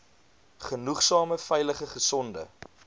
genoegsame veilige gesonde